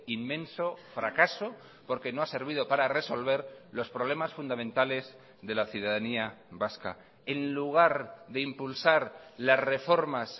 inmenso fracaso porque no ha servido para resolver los problemas fundamentales de la ciudadanía vasca en lugar de impulsar las reformas